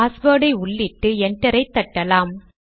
பாஸ்வேர்டை உள்ளிட்டு என்டர் ஐ தட்டலாம்